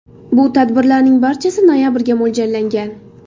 Bu tadbirlarning barchasi noyabrga mo‘ljallangan.